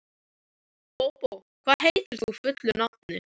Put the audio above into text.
Bóbó, hvað heitir þú fullu nafni?